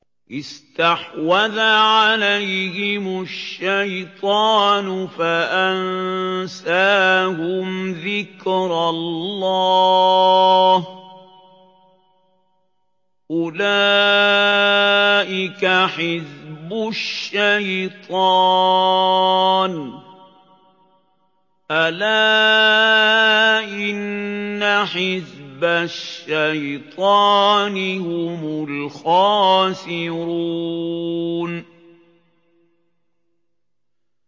اسْتَحْوَذَ عَلَيْهِمُ الشَّيْطَانُ فَأَنسَاهُمْ ذِكْرَ اللَّهِ ۚ أُولَٰئِكَ حِزْبُ الشَّيْطَانِ ۚ أَلَا إِنَّ حِزْبَ الشَّيْطَانِ هُمُ الْخَاسِرُونَ